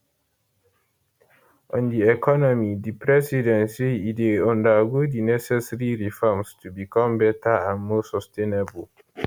on di economy di president say e dey undergo di necessary reforms to become better and more sustainable